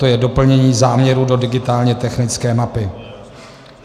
To je doplnění záměru do digitálně technické mapy.